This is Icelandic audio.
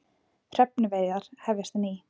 Hrefnuveiðar að hefjast